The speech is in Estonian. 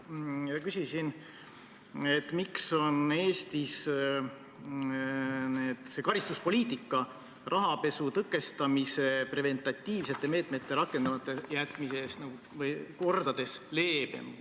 Ma küsisin siin, miks on Eestis karistuspoliitika rahapesu tõkestamise preventiivsete meetmete rakendamata jätmise eest mitu korda leebem.